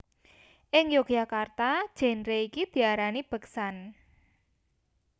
Ing Yogyakarta genre iki diarani beksan